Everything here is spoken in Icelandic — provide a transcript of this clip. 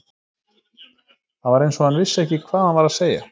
Það var eins og hann vissi ekki hvað hann var að segja.